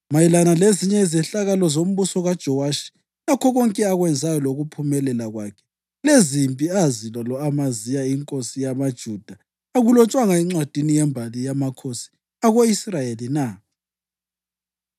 Mayelana lezinye izehlakalo zombuso Jowashi lakho konke akwenzayo lokuphumelela kwakhe lezimpi azilwa lo-Amaziya inkosi yamaJuda akulotshwanga encwadini yembali yamakhosi ako-Israyeli na?